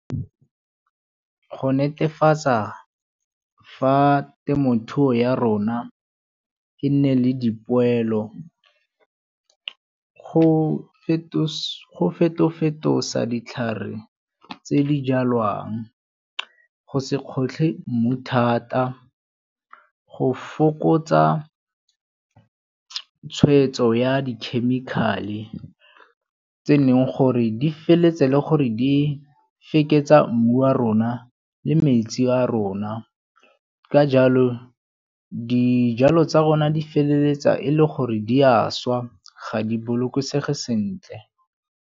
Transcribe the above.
Go netefatsa fa temothuo ya rona e nne le dipoelo go feto-fetoga ditlhare tse di jalwang, go se gotlhe mmu thata, go fokotsa tshwetso ya di-chemical-e tse neng gore di feleletsa e le gore di fekesa mmu wa rona le metsi a rona. Ka jalo dijalo tsa rona di feleletsa e le gore di a swa ga di bolokosege sentle.